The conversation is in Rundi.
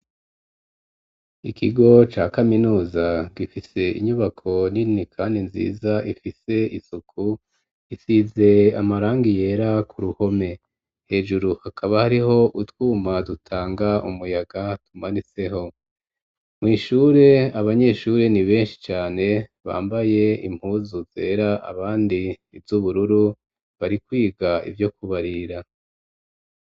Ikigo ca kaminuza, gifise inyubako nini kandi nziza ifise isuku isize amarangi yera, ku ruhome hejuru hakaba hariho utwuma dutanga umuyaga, tumanitseho mw'ishure, abanyeshuri ni benshi cane bambaye impuzu zera, abandi ivy'ubururu, bari kwiga ivyo kubarira.